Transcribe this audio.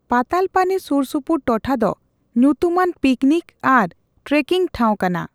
ᱯᱟᱛᱟᱞᱯᱟᱱᱤ ᱥᱩᱨᱥᱩᱯᱩᱨ ᱴᱚᱴᱷᱟ ᱫᱚ ᱧᱩᱛᱩᱢᱟᱱ ᱯᱤᱠᱱᱤᱠ ᱟᱨ ᱴᱨᱮᱠᱤᱝ ᱴᱷᱟᱣ ᱠᱟᱱᱟ ᱾